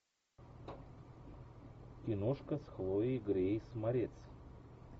киношка с хлоей грейс морец